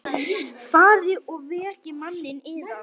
Farið og vekið manninn yðar.